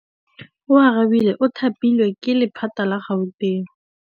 Oarabile o thapilwe ke lephata la Gauteng.